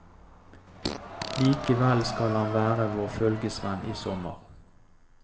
Likevel skal han være vår følgesvenn i sommer.